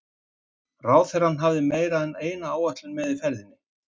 Ráðherrann hafði meira en eina ætlan með ferðinni.